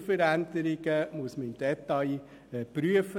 Strukturveränderungen muss man im Detail prüfen.